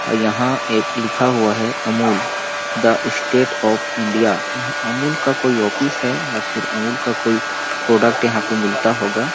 यहाँ एक लिखा हुआ है Amul the state of India यहाँ अमूल का कोई ऑफिस है या फिर अमूल का कोई प्रोडक्ट यहाँ मिलता होगा।